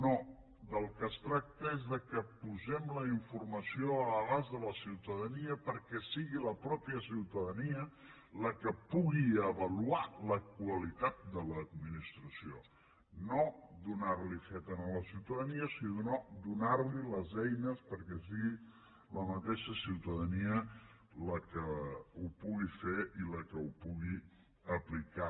no del que es tracta és del fet que posem la informació a l’abast de la ciutadania perquè sigui la mateixa ciutadania la que pugui avaluar la qualitat de l’administració no donar li ho fet a la ciutadania sinó donar li les eines perquè sigui la mateixa ciutadania la que ho pugui fer i la que ho pugui aplicar